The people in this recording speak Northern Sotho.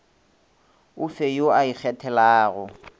o fe yo o ikgethelago